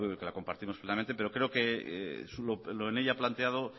que la compartimos plenamente pero creo que lo que ella planteado